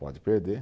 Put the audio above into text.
Pode perder.